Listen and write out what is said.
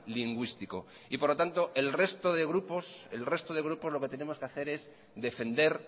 lingüístico y por lo tanto el resto de grupos el resto de grupos lo que tenemos que hacer es defender